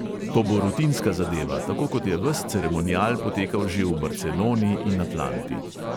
To bo rutinska zadeva, tako kot je ves ceremonial potekal že v barceloni in atlanti.